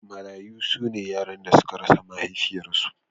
Marayu su ne yaran da suka rasa mahaifiyarsu.